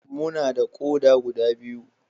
Muna da ƙoda guda biyu.